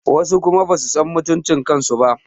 Wasu kuma basu san mutuncin kansu ba